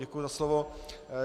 Děkuji za slovo.